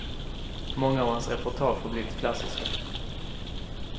Många av hans reportage har blivit klassiska.